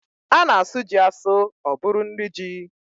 A na-asụ ji asụ ọ bụrụ nri ji.